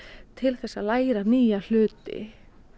til að læra nýja hluti